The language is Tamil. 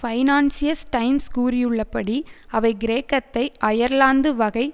பைனான்ஸியல் டைம்ஸ் கூறியுள்ளபடி அவை கிரேக்கத்தை அயர்லாந்து வகை